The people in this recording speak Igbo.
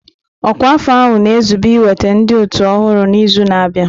Ọkwa afọ ahụ na-ezube iweta ndị otu ọhụrụ n'izu na-abịa.